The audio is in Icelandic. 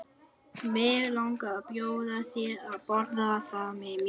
Mig langar að bjóða þér að borða það með mér.